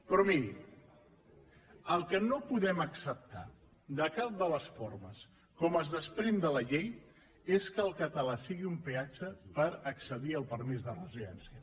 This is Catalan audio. però miri el que no podem acceptar de cap de les formes com es desprèn de la llei és que el català sigui un peatge per accedir al permís de residència